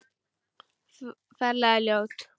Ferlega ljót.